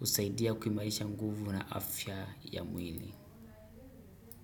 usaidia kumailisha nguvu na afya ya mwili.